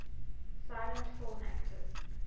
silent film actors